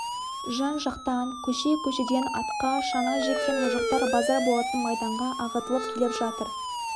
жан-жақтан көше-көшеден атқа шана жеккен мұжықтар базар болатын майданға ағытылып келіп жатыр